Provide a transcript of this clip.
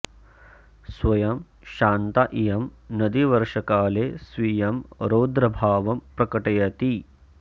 स्वयं शान्ता इयं नदी वर्षकाले स्वीयं रौद्रभावं प्रकटयति